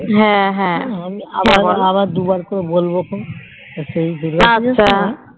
হ্যাঁ হ্যাঁ